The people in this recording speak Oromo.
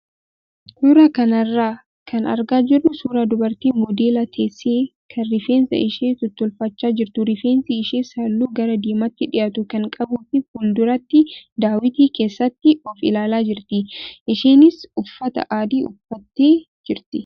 Suuraa kanarraa kan argaa jirru suuraa dubartii modeela teessee kan rifeensa ishee tottolfachaa jirtu rifeensi ishees halluu gara diimaatti dhiyaatu kan qabuu fi fuulduratti daawwitii keessatti of ilaalaa jirti. Isheenis uffata adii uffattee jirti.